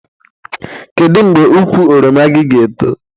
Kedu mgbe ukwu oroma gị ga-eto?